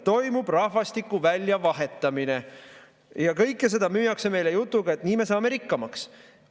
Toimub rahvastiku väljavahetamine ja kõike seda müüakse meile jutuga, et nii me saame rikkamaks.